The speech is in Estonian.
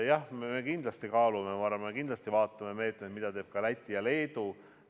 Jah, me kindlasti kaalume ja me kindlasti vaatame meetmeid, mida teevad ka Läti ja Leedu.